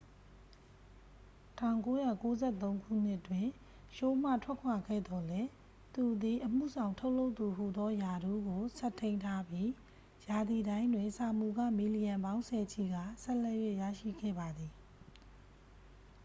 1993 ခုနှစ်တွင် ရှိုးမှထွက်ခွာခဲ့သော်လည်း သူသည် အမှုဆောင်ထုတ်လုပ်သူဟူသောရာထူးကို ဆက်ထိန်းထားပြီး ရာသီတိုင်းတွင် စာမူခ မီလီယံပေါင်းဆယ်ချီကာ ဆက်လက်၍ ရရှိခဲ့ပါသည်